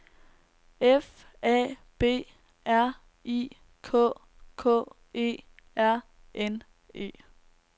F A B R I K K E R N E